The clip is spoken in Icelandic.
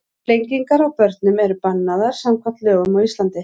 Flengingar á börnum eru bannaðar samkvæmt lögum á Íslandi.